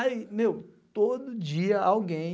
Aí, meu, todo dia alguém,